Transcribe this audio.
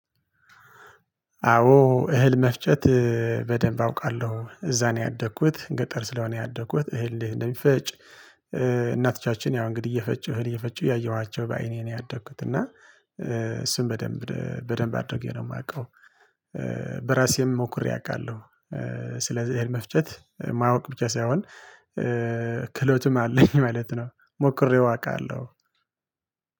አዎ እህል መፍጨት በደንብ አውቃለሁ እዛ ነው ያደግኩት ገጠር ስለሆነ ያደግኩት እህል እንዴት እንደሚፈጭ። እናቶቻችን ያው እንግዲህ እየፈጩ እህል እየፈጩ ያየኋቸው በአይኔ ነው ያደኩት እና እሱን በደንብ በደንብ አድርጌ ነው የማውቀው። በራሴም ሞክሬ አውቃለሁ። ስለዚህ እህል መፍጨት ማወቅ ብቻ ሳይሆን ክህሎትም አለኝ ማለት ነው። ሞክሬው አውቃለሁ።